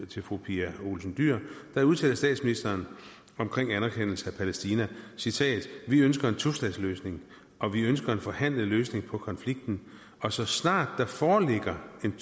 til fru pia olsen dyhr udtalte statsministeren omkring anerkendelse af palæstina citat vi ønsker en tostatsløsning og vi ønsker en forhandlet løsning på konflikten og så snart der foreligger en